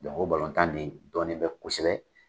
Dɔnki o balontan in de dɔlɔlen bɛ kosɛbɛ.